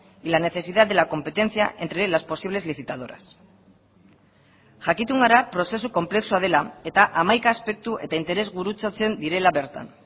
y la necesidad de la competencia entre las posibles licitadoras jakitun gara prozesu konplexua dela eta hamaika aspektu eta interes gurutzatzen direla bertan